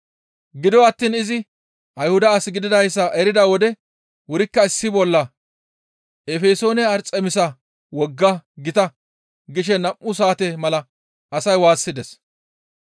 Gido attiin izi Ayhuda as gididayssa erida wode wurikka issi bolla, «Efesoone Arxemisa wogga gita!» gishe nam7u saate mala asay waassides.